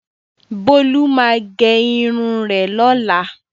Bolu ma ge irun rẹ lola.